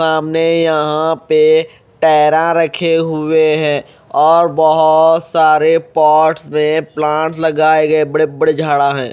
सामने यहां पे टयरा रखे हुए हैं और बहोत सारे पार्ट्स में प्लांट लगाए गए बड़े बड़े झाड़ा है।